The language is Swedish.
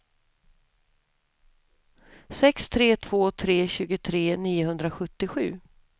sex tre två tre tjugotre niohundrasjuttiosju